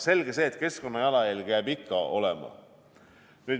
Selge see, et keskkonna jalajälg jääb ikka.